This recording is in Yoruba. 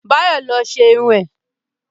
Báyọ̀ lo ṣe irun ẹ̀